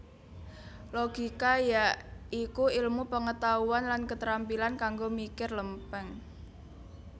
Logika ya iku ilmu pengetahuan lan ketrampilan kanggo mikir lempeng